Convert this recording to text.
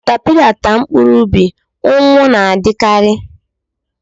Caterpillar taa mkpụrụ ubi, ụnwụ na-adikari